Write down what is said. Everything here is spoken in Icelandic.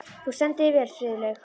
Þú stendur þig vel, Friðlaug!